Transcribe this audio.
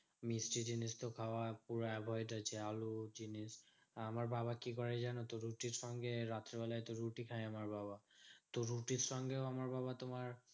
মিষ্টি জিনিস তো খাওয়ার পুরা avoid আছে আলুর জিনিস। আমার বাবা কি করে জানতো? রুটির সঙ্গে রাত্রে বেলায় তো রুটি খায় আমার বাবা তো রুটির সঙ্গেও আমার বাবা তোমার